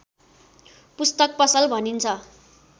पुस्तक पसल भनिन्छ